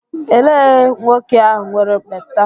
Elee nwoke ahụ nwere ekpenta?